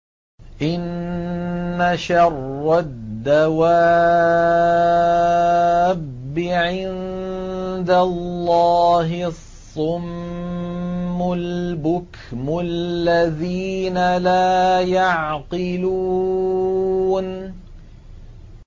۞ إِنَّ شَرَّ الدَّوَابِّ عِندَ اللَّهِ الصُّمُّ الْبُكْمُ الَّذِينَ لَا يَعْقِلُونَ